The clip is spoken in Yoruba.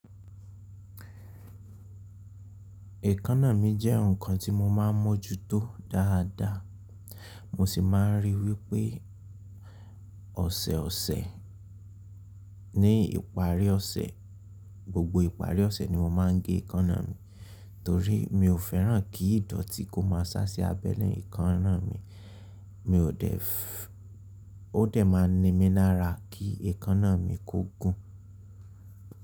Èékánná mi jẹ́ nǹkan tí mo máa ń mọ́ ju tó dáadáa. Mo sì máa ń rí i wípé ọ̀sẹ̀ ọ̀sẹ̀ ní ìparí ọ̀sẹ̀, gbogbo ìparí ọ̀sẹ̀ ni mo máa ń gé èékánná mi torí mi ò fẹ́ràn kí ìdọ̀tí kó máa sá sí abẹ́lé èékánná mi, mi ò dè ẹ́, ó dẹ̀ máa ní mi lára kí èékánná mi kó gùn.